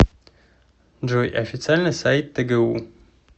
джой официальный сайт тэгу